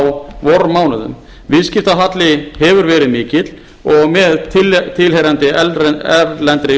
á vormánuðum viðskiptahalli hefur verið mikið og með tilheyrandi erlendri